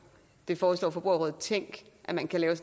det foreslår forbrugerrådet tænk at man kan lave